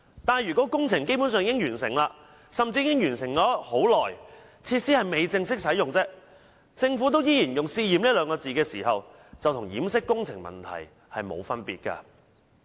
但是，如果工程基本上已完成，甚至已完成很久，設施只是未正式使用，而政府依然用"試驗"二字形容該等行為，這便與掩飾工程問題無異。